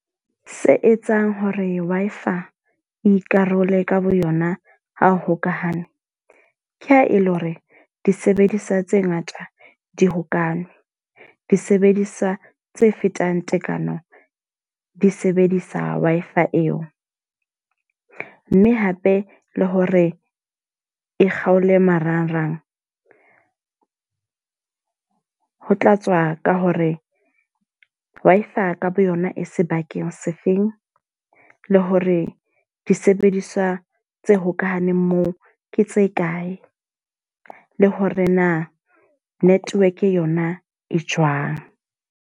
Se etsang hore Wi-Fi e ikarole ka boyona ha o hokahane. Ke ha e le hore disebediswa tse ngata di hokane. Disebediswa tse fetang tekano di sebedisa Wi-Fi eo. Mme hape le hore e kgaole marangrang. Ho tlatswa ka hore Wi-Fi ka boyona e sebakeng sefeng, le hore disebediswa tse hokahaneng moo ke tse kae, le hore na network yona e jwang.